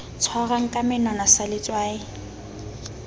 tshwarwang ka menwana sa letswai